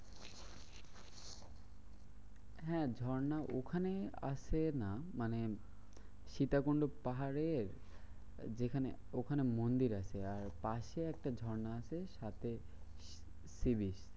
হ্যাঁ ঝর্ণা ওখানে আছে না, মানে সীতাকুন্ড পাহাড়ের যেখানে ওখানে মন্দির আছে। আর পাশে একটা ঝর্ণা আছে। সাথে sea beach.